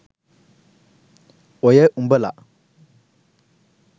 ඔය උඹල